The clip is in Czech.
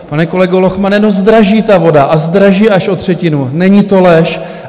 Pane kolego Lochmane, no, zdraží ta voda a zdraží až o třetinu, není to lež.